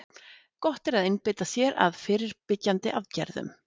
Gott er að einbeita sér að fyrirbyggjandi aðgerðum.